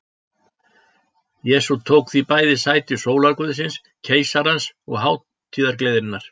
Jesús tók því bæði sæti sólarguðsins, keisarans og hátíðargleðinnar.